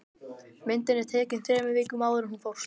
Myndin var tekin þremur vikum áður en hún fórst